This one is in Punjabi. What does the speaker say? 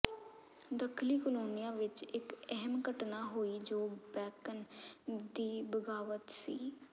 ਦੱਖਣੀ ਕੋਲੋਨੀਆਂ ਵਿੱਚ ਇੱਕ ਅਹਿਮ ਘਟਨਾ ਹੋਈ ਜੋ ਬੈਕਨ ਦੀ ਬਗਾਵਤ ਸੀ